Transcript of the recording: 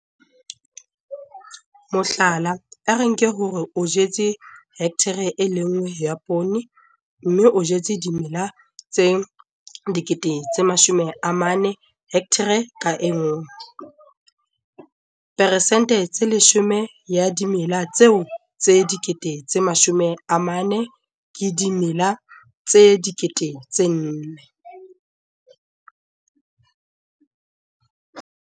Mohlala, a re nke hore o jetse hekthara e le nngwe ya poone, mme o jetse dimela tse 40 000 hekthareng ka nngwe. Peresente tse 10 ya dimela tseo tse 40 000 ke dimela tse 4 000.